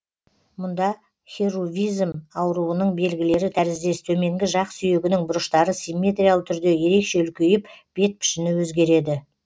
мұнда херувизм ауруының белгілері тәріздес төменгі жақ сүйегінің бұрыштары симметриялы түрде ерекше үлкейіп бет пішіні өзгереді